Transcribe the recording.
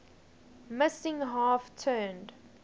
missing half turned